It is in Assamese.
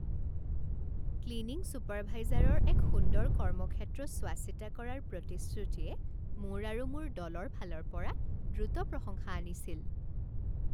ক্লিনিং চুপাৰভাইজাৰৰ এক সুন্দৰ কৰ্মক্ষেত্ৰ চোৱাচিতা কৰাৰ প্ৰতিশ্ৰুতিয়ে মোৰ আৰু মোৰ দলৰ ফালৰ পৰা দ্ৰুত প্ৰশংসা আনিছিল।